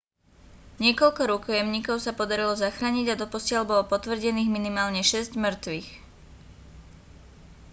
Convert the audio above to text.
niekoľko rukojemníkov sa podarilo zachrániť a doposiaľ bolo potvrdených minimálne šesť mŕtvych